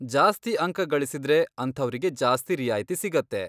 ಜಾಸ್ತಿ ಅಂಕ ಗಳಿಸಿದ್ರೆ, ಅಂಥವ್ರಿಗೆ ಜಾಸ್ತಿ ರಿಯಾಯ್ತಿ ಸಿಗತ್ತೆ.